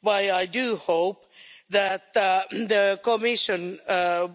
What I do hope is that the Commission